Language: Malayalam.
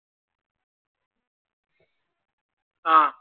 ആഹ്